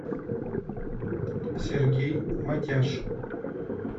сергей матяш